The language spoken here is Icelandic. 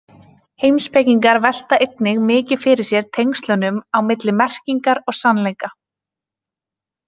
Heimspekingar velta einnig mikið fyrir sér tengslunum á milli merkingar og sannleika.